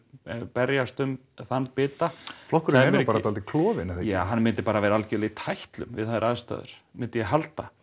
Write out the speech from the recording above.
berjast um þann bita flokkurinn er nú bara dálítið klofinn ja hann myndi bara vera algerlega í tætlum við þær aðstæður myndi ég halda